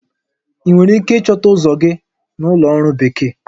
Ị nwere ike ịchọta ụzọ gị na Ụlọ Ọrụ Bekee?